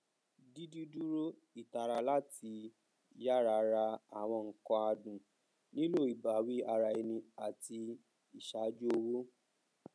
dídìdúró ìtara láti yára rà àwọn nǹkan adùn nílò ìbáwí ara ẹni àti ìṣàjú owó